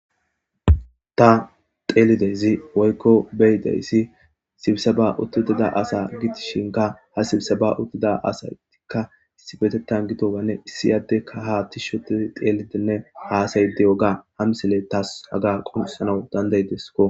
ta xeelidezi woykko beyidayssi sibisaba uttuutida asa gidishinka ha sibisaba uttida asaytikka issibetettan gidowanne issi addeka ha tishoti xeelitenne haasay deyoga hamsile taas haga qoncisanaw dandaydesko